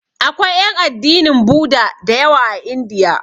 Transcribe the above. Akwai ƴan addinin Buda da yawa a Indiya.